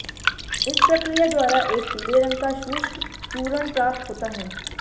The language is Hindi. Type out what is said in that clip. इस प्रक्रिया द्वारा एक पीले रंग का शुष्क चूर्ण प्राप्त होता है